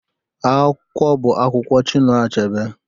Akwụkwọ bụ akwụkwọ Chinua Achebe